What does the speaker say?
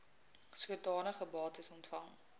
sodanige bates ontvang